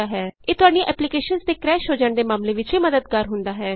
ਇਹ ਤੁਹਾਡੀਆਂ ਐਪਲੀਕੇਸ਼ਨਸ ਦੇ ਕਰੈਸ਼ ਹੋ ਜਾਣ ਦੇ ਮਾਮਲੇ ਵਿਚ ਵੀ ਮੱਦਦਗਾਰ ਹੁੰਦਾ ਹੈ